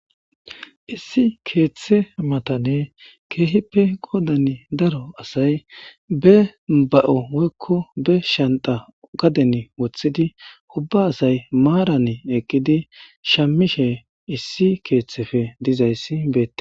Issi keethe matani kehipe qoodan daro asay be ba'o woyko be Shanta gadeni wothidi ubba asay maaran eqidi ahamishe issi keethepe dizaysi beetes.